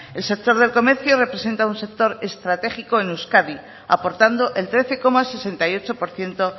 el sector del comercio representa un sector estratégico en euskadi aportando el trece coma sesenta y ocho por ciento